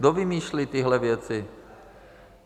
Kdo vymýšlí tyhle věci?